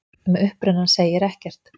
Um upprunann segir ekkert.